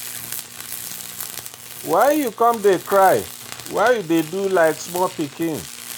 why you come dey cry? why you dey do like small pikin?